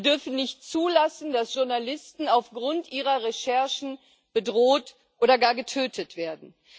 Wir dürfen nicht zulassen, dass Journalisten aufgrund ihrer Recherchen bedroht oder gar getötet werden.